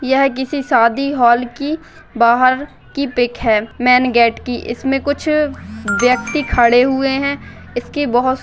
यह किसी शादी हाल की बाहर की पीक है मैन गेट की इसमे कुछ व्यक्ति खड़े हुए है। इसके बहोत ----